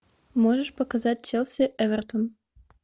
можешь показать челси эвертон